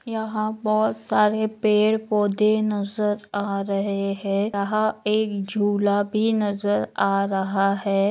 यहाँ बहुत सारे पेड़ पौधे नजर आ रहे है यहा एक झूला भी नजर आ रहा है।